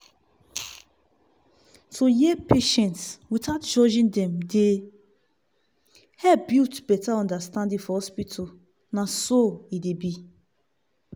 to hear patients without judging dem dey help build better understanding for hospital nah so e dey be.